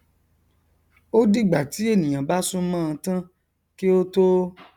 ó dìgbà tí ènìà bá súnmọnọn tán kí ó tó